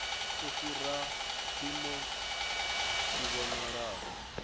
u fhira mpimo tshi vhonala